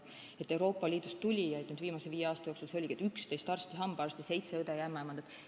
Euroopa Liidust tulijaid on viimase viie aasta jooksul olnud 11 arsti-hambaarsti ning seitse õde ja ämmaemandat.